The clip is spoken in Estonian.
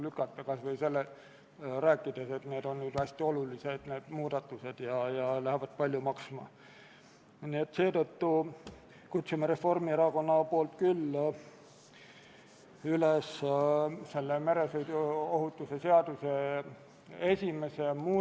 Austatud Riigikogu, panen hääletusele Vabariigi Valitsuse esitatud otsuse "Kaitseväe kasutamise tähtaja pikendamine Eesti riigi rahvusvaheliste kohustuste täitmisel väljaõppe- ja nõustamismissioonil Afganistanis" eelnõu 72.